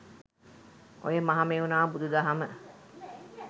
ඔය මහමෙව්නාව බුදු දහම